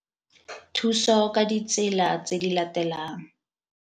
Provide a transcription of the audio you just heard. Thuso ka ditsela tse di latelang.